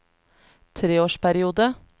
treårsperiode